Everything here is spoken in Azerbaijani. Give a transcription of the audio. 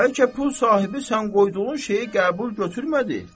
Bəlkə pul sahibi sən qoyduğun şeyi qəbul götürmədi.